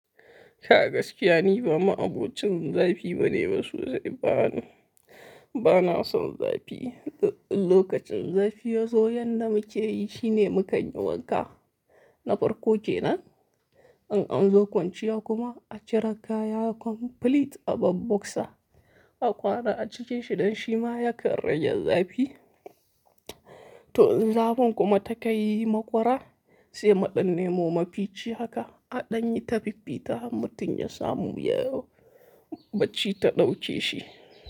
Ka gaskiya ni ba ma'abocin zafi bane, masu dai ba nu, ba na son zafi. Lokacin zafi ya zo, yan da muke yi shine mu kanyi wanka na farko kenan. In an zo kwanciya kuma a cire kaya complete a bar boksa. A ƙara a cike shi ɗan shima ya karre yanzu zafi. To, zafin kuma ta kai makwara sai maɗin nemo mafici haka a ɗanye ta fiffita ta har mutun ya samu ya bacci ta ɗauke shi.